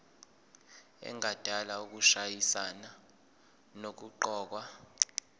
engadala ukushayisana nokuqokwa